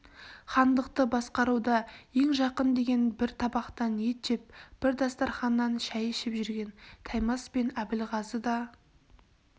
хандықты басқаруда ең жақын деген бір табақтан ет жеп бір дастарқаннан шай ішіп жүрген таймас пен әбілғазыға да